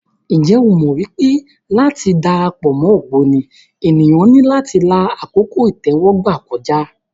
Ǹjẹ́ o mọ̀ pé láti dara pọ̀ mọ́ ògbóni, ènìyàn ní láti la àkókò ìtẹ́wọ́gbà kọjá.